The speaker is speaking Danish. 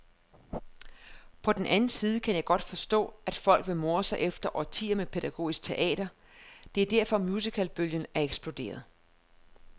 På den anden side kan jeg godt forstå, at folk vil more sig efter årtier med pædagogisk teater, det er derfor musicalbølgen er eksploderet.